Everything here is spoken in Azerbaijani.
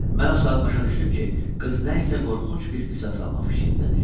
Mən o saat başa düşdüm ki, qız nə isə qorxunc bir qisas almaq fikrindədir.